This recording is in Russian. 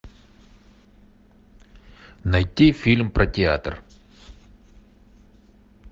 найти фильм про театр